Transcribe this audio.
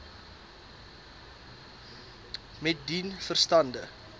met dien verstande